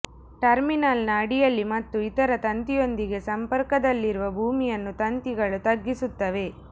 ಟರ್ಮಿನಲ್ನ ಅಡಿಯಲ್ಲಿ ಮತ್ತು ಇತರ ತಂತಿಯೊಂದಿಗೆ ಸಂಪರ್ಕದಲ್ಲಿರುವ ಭೂಮಿಯನ್ನು ತಂತಿಗಳು ತಗ್ಗಿಸುತ್ತವೆ